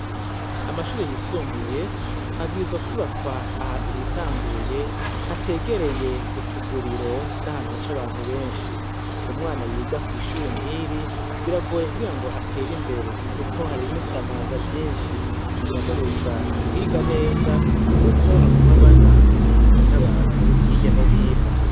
Amashuri yisumbuye abwiza kubakwa ahantu hitanguye hategereye utuguriro n'ahantu ha c'abantu benshi, umwana yiga kw'ishure nkiri biragoye kugira ngo atera imbere, kuko haribimusamaza vyinshi biramubuza kwiga neza, kuko agumabana ibintu bantu ihirya no hino.